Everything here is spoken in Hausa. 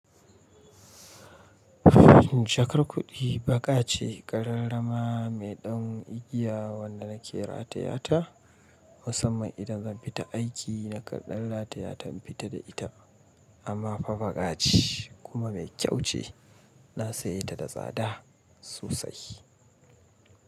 Jakar kuɗi baƙa ce ƙararrama mai ɗan igiya wanda na kira ta yata musamman idan zan fita aiki na kandan rata yatainfita fita da ita amma fa baƙa ce kuma mai kyau ce na sayi ta da tsada sosai.